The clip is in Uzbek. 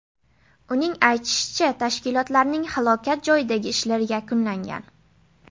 Uning aytishicha, tashkilotlarning halokat joyidagi ishlari yakunlangan.